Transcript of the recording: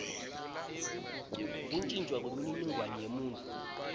kuntjintjwa kwemininingwane yemuntfu